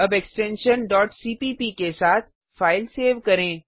अब extension cpp के साथ फाइल सेव करें